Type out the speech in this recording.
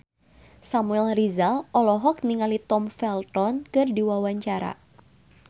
Samuel Rizal olohok ningali Tom Felton keur diwawancara